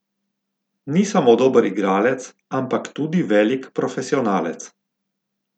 Ni samo dober igralec, ampak tudi velik profesionalec.